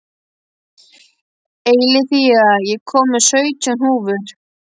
Eileiþía, ég kom með sautján húfur!